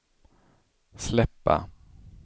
släppa